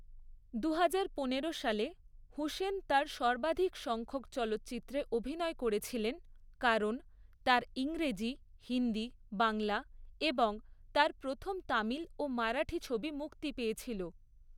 দুহাজার পনেরো সালে হুসেন তার সর্বাধিক সংখ্যক চলচ্চিত্রে অভিনয় করেছিলেন কারণ তার ইংরেজি, হিন্দি, বাংলা এবং তার প্রথম তামিল ও মারাঠি ছবি মুক্তি পেয়েছিল।